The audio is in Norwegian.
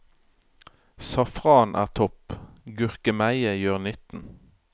Safran er topp, gurkemeie gjør nytten.